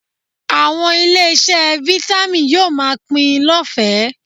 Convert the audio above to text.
Àwọn ilé-iṣẹ́ Vitamin yóò máa pín in lọ́fẹ̀ẹ́